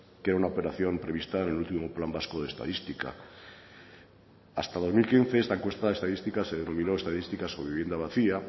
que era una operación prevista en el último plan vasco de estadística hasta el dos mil quince esta encuesta estadística se denominó estadística sobre vivienda vacía